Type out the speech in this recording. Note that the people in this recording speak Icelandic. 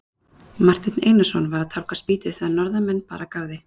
Marteinn Einarsson var að tálga spýtu þegar norðanmenn bar að garði.